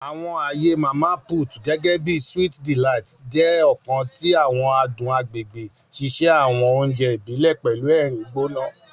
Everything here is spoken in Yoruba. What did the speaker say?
Àwọn aaye Mama Put, gẹgẹbi Sweet Delight, jẹ ọkan ti àwọn adun agbegbe, ṣiṣe awọn oúnjẹ ibile pẹlu ẹrin gbona.